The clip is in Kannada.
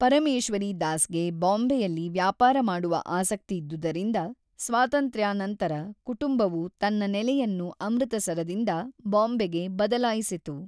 ಪರಮೇಶ್ವರಿದಾಸ್‌ಗೆ ಬಾಂಬೆಯಲ್ಲಿ ವ್ಯಾಪಾರ ಮಾಡುವ ಆಸಕ್ತಿಯಿದ್ದುದರಿಂದ ಸ್ವಾತಂತ್ರ್ಯಾ ನಂತರ ಕುಟುಂಬವು ತನ್ನ ನೆಲೆಯನ್ನು ಅಮೃತಸರದಿಂದ ಬಾಂಬೆಗೆ ಬದಲಾಯಿಸಿತು.